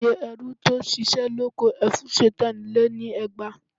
Iye ẹrú tó ṣiṣẹ́ lóko Ẹfúnṣetán lé ní ẹgbàá